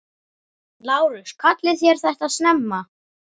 LÁRUS: Kallið þér þetta snemma?